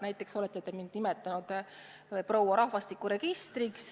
Näiteks olete te mind nimetanud proua rahvastikuregistriks.